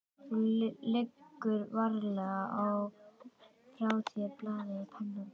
Þú leggur varlega frá þér blaðið og pennann.